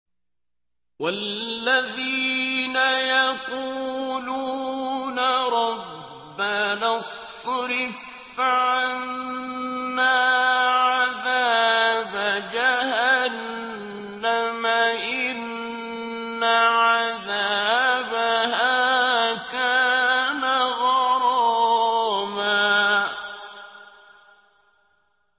وَالَّذِينَ يَقُولُونَ رَبَّنَا اصْرِفْ عَنَّا عَذَابَ جَهَنَّمَ ۖ إِنَّ عَذَابَهَا كَانَ غَرَامًا